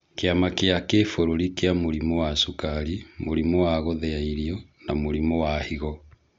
Kĩama kĩa kĩbũrũri kĩa mũrimũ wa cukari, mũrimũ wa gũthĩa irio na mũrimũ wa higo.